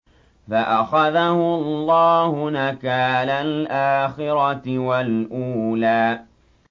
فَأَخَذَهُ اللَّهُ نَكَالَ الْآخِرَةِ وَالْأُولَىٰ